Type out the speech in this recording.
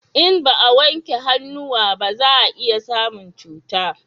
In ba a wanke hannuwa ba za a iya samun cuta